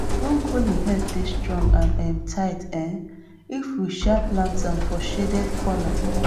broccoli head dey strong and um tight um if we um plant am for shaded corner